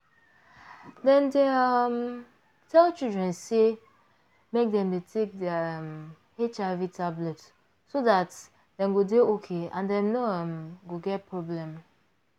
dem dey um tell children say make dem dey take their um hiv tablet so dat dem go dey okay and dem no um go get problem